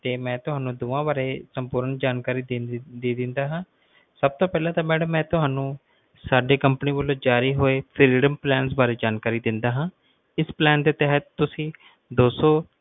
ਤੇ ਮਈ ਤੁਹਾਨੂੰ ਦੋਨਾਂ ਵਾਰੇ ਸੰਪੂਰਨ ਜਾਣਕਾਰੀ ਦੇ ਦੀਨਾ ਹੈ ਸਭ ਤੋਂ ਪਹਿਲਾਂ ਮੈਡਮ ਮਈ ਤੁਹਾਨੂੰ company ਵਲੋਂ ਜਾਰੀ ਹੋਏ plans ਵਾਰੇ ਜਾਣਕਾਰੀ ਦਿੰਨਾ ਆ ਇਸ plan ਦੇ ਤਹਿਤ ਤੁਸੀਂ ਦੋਸੋਂ